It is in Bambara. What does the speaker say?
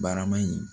Barama in